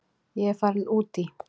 Ég er farin út í.